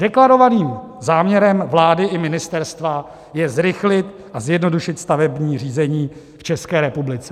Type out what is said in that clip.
Deklarovaným záměrem vlády i ministerstva je zrychlit a zjednodušit stavební řízení v České republice.